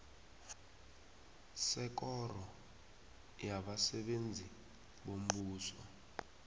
sekoro yabasebenzi bombuso